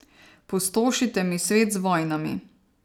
Pustošite mi svet z vojnami.